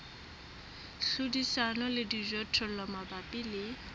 hlodisana le dijothollo mabapi le